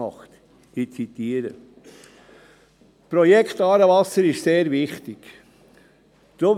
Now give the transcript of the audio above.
ich zitiere: «Dieses Projekt ist wichtig […].